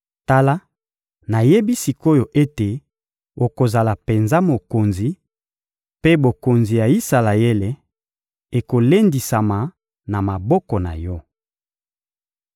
Tala, nayebi sik’oyo ete okozala penza mokonzi, mpe bokonzi ya Isalaele ekolendisama na maboko na yo.